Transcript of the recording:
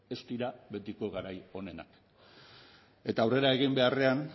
ez dira betiko garai onenak eta aurrera egin beharrean